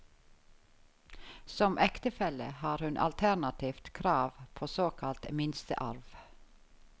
Som ektefelle har hun alternativt krav på såkalt minstearv.